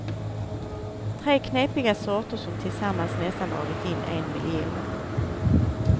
Tre knepiga sorter, som tillsammans nästan dragit in en miljon.